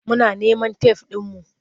Muna neman tef ɗinmu.